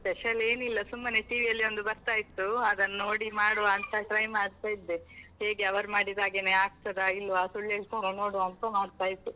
Special ಏನಿಲ್ಲ ಸುಮ್ಮನೆ TV ಯಲ್ಲಿ ಒಂದು ಬರ್ತಾ ಇತ್ತು, ಅದನ್ನು ನೋಡಿ ಮಾಡುವ ಅಂತ try ಮಾಡ್ತ ಇದ್ದೆ, ಹೇಗೆ ಅವರು ಮಾಡಿದಾಗೆನೆ ಆಗ್ತದಾ ಇಲ್ವಾ ಸುಳ್ಳೇಳ್ತಾರಾ ನೋಡುವ ಅಂತ ಮಾಡ್ತಾ ಇದ್ದೆ.